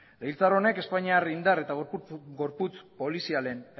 legebiltzar honek espainiar indar eta gorputz polizialen